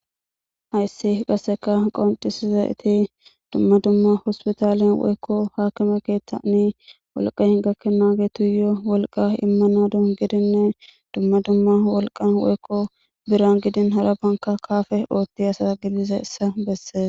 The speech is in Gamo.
Hayssi qasseka qoccisizayti dumma dumma hossputtale woykko hakkime keththani wolqqay gakenagetuyo wolqqa immanawu giddinne dumma dumma wolqqan woykko biiran giddin haarabankka kappe ottiya assa giddizayssa besses.